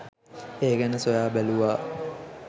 ඒ ගැන සොයා බැලුවා.